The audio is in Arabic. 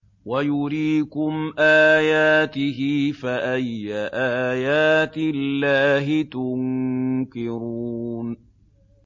وَيُرِيكُمْ آيَاتِهِ فَأَيَّ آيَاتِ اللَّهِ تُنكِرُونَ